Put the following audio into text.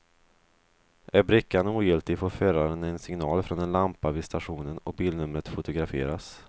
Är brickan ogiltig får föraren en signal från en lampa vid stationen och bilnumret fotograferas.